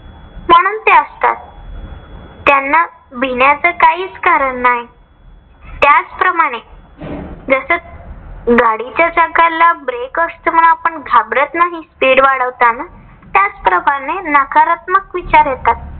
त्यांना भिण्याच काही कारण नाही. त्याच प्रमाणे जस गाडीच्या चाकाला break असत, म्हणून आपण घाबरत नाही speed वाढवताना. त्याच प्रमाणे नकारात्मक विचार येतात.